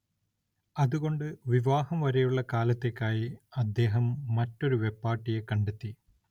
അതുകൊണ്ട് വിവാഹം വരെയുള്ള കാലത്തേയ്ക്കായി അദ്ദേഹം മറ്റൊരു വെപ്പാട്ടിയെ കണ്ടെത്തി.